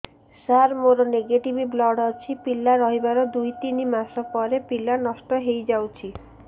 ସାର ମୋର negative blood ଅଛି ପିଲା ରହିବାର ଦୁଇ ତିନି ମାସ ପରେ ପିଲା ନଷ୍ଟ ହେଇ ଯାଉଛି